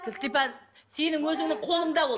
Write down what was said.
кілтипан сенің өзіңнің қолыңда ол